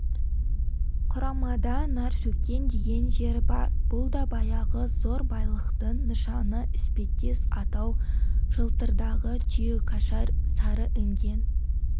құрамада наршөккен деген жер бар бұл да баяғы зор байлықтың нышаны іспеттес атау жалтырдағы түйекашар сарыінген